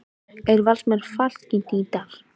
Eru Valsmenn fallkandídatar?